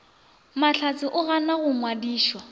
mahlatse o ganwa go nyadišwa